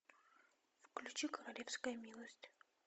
включи королевская милость